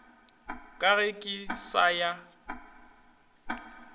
ka ge ke sa ya